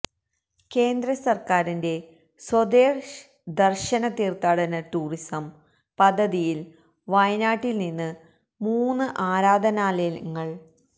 കേന്ദ്ര സര്ക്കാരിന്റെ സ്വദേശ് ദര്ശന് തീര്ത്ഥാടന ടൂറിസം പദ്ധതിയില് വയനാട്ടില് നിന്ന് മൂന്ന് ആരാധനാലയങ്ങള്